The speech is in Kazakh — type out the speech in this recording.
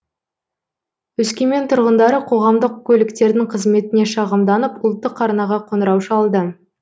өскемен тұрғындары қоғамдық көліктердің қызметіне шағымданып ұлттық арнаға қоңырау шалды